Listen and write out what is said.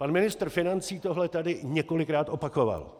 Pan ministr financí tohle tady několikrát opakoval.